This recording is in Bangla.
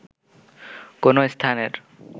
কোনো স্থানের